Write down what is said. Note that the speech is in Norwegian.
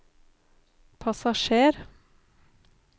passasjer